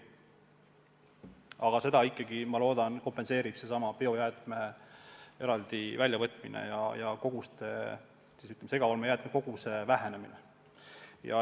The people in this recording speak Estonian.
Aga ma loodan, et selle kompenseerib biojäätmete eraldi väljavõtmine ja segaolmejäätmete koguse vähenemine.